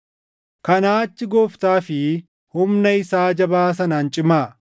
Kanaa achi Gooftaa fi humna isaa jabaa sanaan cimaa.